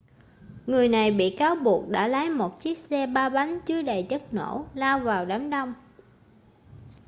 người này bị cáo buộc đã lái một chiếc xe ba bánh chứa đầy chất nổ lao vào đám đông